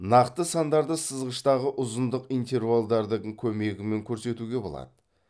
нақты сандарды сызғыштағы ұзындық интервалдардың көмегімен көрсетуге болады